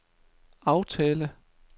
aftale